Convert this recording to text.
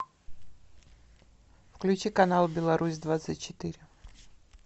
включи канал беларусь двадцать четыре